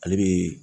Ale bɛ